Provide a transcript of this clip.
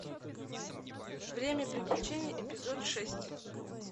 время приключений эпизод шесть